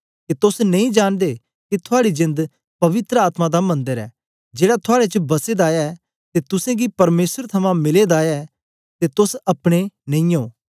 के तोस नेई जांनदे के थुआड़ी जेंद पवित्र आत्मा दा मन्दर ऐ जेड़ा थुआड़े च बसे दा ऐ ते तुसेंगी परमेसर थमां मिले दा ऐ ते तोस अपने नेई ओ